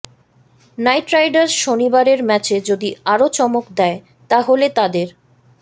night riders শনিবারের ম্যাচে যদি আরও চমক দেয় তা হলে তাঁদের